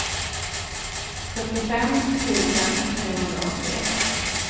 sjuttiofem tusen trehundraåttioett